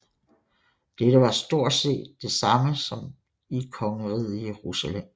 Dette var stort set det samme som i Kongeriget Jerusalem